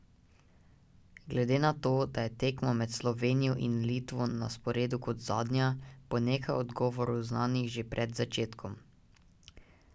Glede na to, da je tekma med Slovenijo in Litvo na sporedu kot zadnja, bo nekaj odgovorov znanih že pred začetkom.